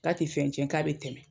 K'a te fɛn tiɲɛ k'a be tɛmɛ.